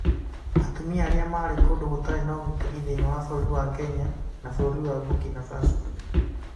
Atumia arĩa marĩ kũndũ gũtarĩ na ũgitĩri thĩinĩ wa bũrũri wa Kenya na bũrũri wa Burkina Faso.